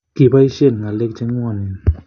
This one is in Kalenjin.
Koboisien ngalek chenguonen.